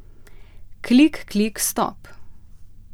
Klik, klik, stop.